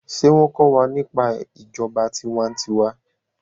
ṣe wón ko wà nípa ìjọba tiwa-n-tiwa?